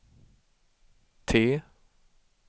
T